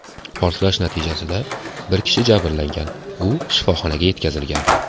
Portlash natijasida bir kishi jabrlangan, u shifoxonaga yetkazilgan.